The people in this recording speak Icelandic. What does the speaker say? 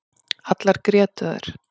Allar grétu þær.